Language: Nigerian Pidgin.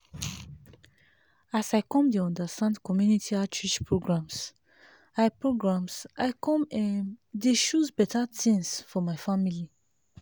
as i come dey understand community outreach programs i programs i come um dey choose better things for my family